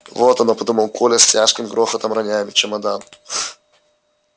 вот оно подумал коля с тяжким грохотом роняя чемодан